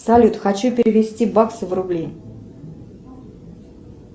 салют хочу перевести баксы в рубли